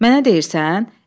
Mənə deyirsən?